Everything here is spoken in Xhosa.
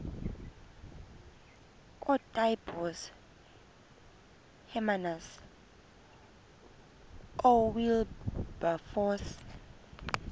ootaaibos hermanus oowilberforce